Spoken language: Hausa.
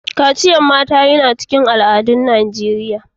Kaciyan yaran mata yana cikin al'adu a'Nijeriya.